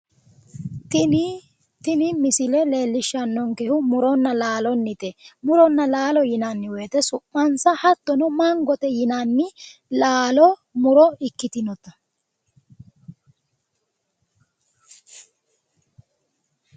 Tini misile leellishshannonkehu muronna laalonnite. Muronna laalo yinanni wote su'mansa hattono mangate yinanni laalo muro ikkitinota.